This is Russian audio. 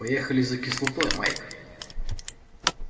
поехали за кислотой майк